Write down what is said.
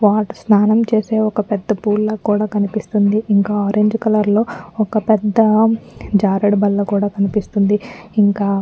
what స్నానం చేసే ఒక్క పెద్ద పూల్ లా కూడా కనిపిస్తుంది ఇంకా ఆరంజ్ కలర్ లొ ఒక్క పెద్ద జారేడు బల్ల కూడా కనిపిస్తుంది ఇంకా --